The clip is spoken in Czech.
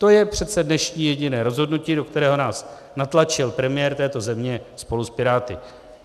To je přece dnešní jediné rozhodnutí, do kterého nás natlačil premiér této země spolu s Piráty.